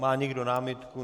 Má někdo námitku?